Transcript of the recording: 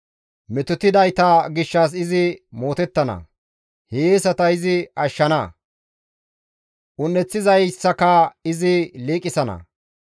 Metotidayta gishshas izi mootettana; hiyeesata izi ashshana; un7eththizayssaka izi liiqisana.